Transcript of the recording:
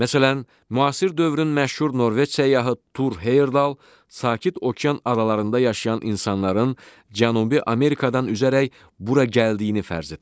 Məsələn, müasir dövrün məşhur Norveç səyyahı Tur Heyerdal sakit okean aralarında yaşayan insanların Cənubi Amerikadan üzərək bura gəldiyini fərz etmişdir.